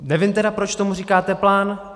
Nevím teda, proč tomu říkáte plán.